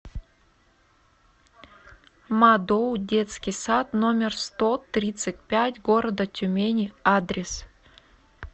мадоу детский сад номер сто тридцать пять города тюмени адрес